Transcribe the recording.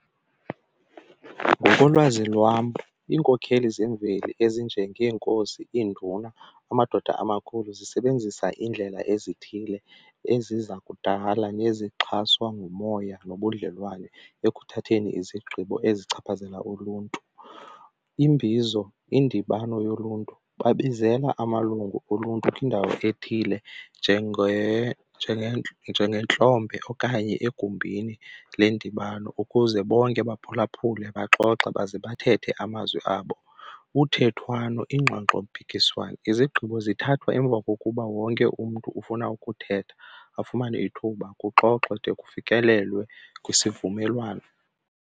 Ngokolwazi lwam iinkokheli zemveli ezinjengeenkosi iinduna amadoda amakhulu zisebenzisa iindlela ezithile ezi zakudala nezixhaswa ngumoya nobudlelwane ekuthatheni izigqibo ezichaphazela uluntu. Imbizo indibano yoluntu, babizelwa amalungu oluntu kwindawo ethile njengentlombe okanye egumbini lendibano ukuze bonke baphulaphuli baxoxe baze bathethe amazwi abo. Uthethwano, iingxoxompikiswano izigqibo zithathwa emva kokuba wonke umntu ufuna ukuthetha afumane ithuba kuxoxwe de kufikelelwe kwisivumelwano.